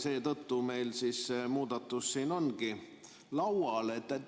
Seetõttu meil see muudatus ongi siin laual.